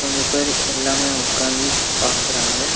கொஞ்ச பேரு எல்லாமே ஒக்காந்து பாக்றாங்க.